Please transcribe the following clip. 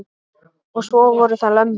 Og svo voru það lömbin.